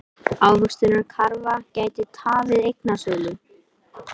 Ávöxtunarkrafa gæti tafið eignasölu